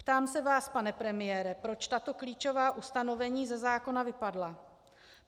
Ptám se vás, pane premiére, proč tato klíčová ustanovení ze zákona vypadla.